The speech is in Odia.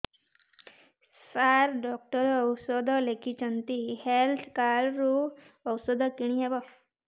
ସାର ଡକ୍ଟର ଔଷଧ ଲେଖିଛନ୍ତି ହେଲ୍ଥ କାର୍ଡ ରୁ ଔଷଧ କିଣି ହେବ